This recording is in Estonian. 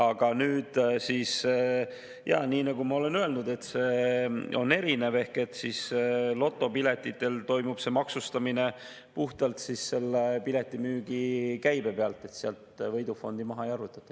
Aga nagu ma olen öelnud, see on erinev: lotopiletite puhul toimub maksustamine puhtalt piletimüügi käibe pealt, sealt võidufondi maha ei arvutata.